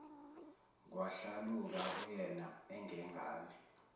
kwahlaluka kuyena engengane